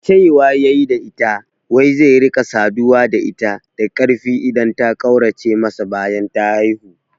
Cewa yayi da ita wai zai rika saduwa da ita da karfi idan ta kaurace masa bayan ta haifu